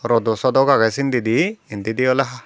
rodosodok agey sindedi indedi oley ahh.